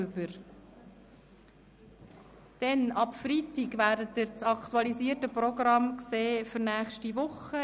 Ab Freitag sehen Sie das aktualisierte Programm der nächsten Woche.